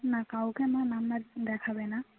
না কাউকে মা number দেখাবে না